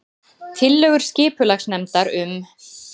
Tillögur skipulagsnefndar um